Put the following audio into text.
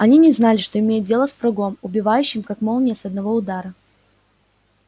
они не знали что имеют дело с врагом убивающим как молния с одного удара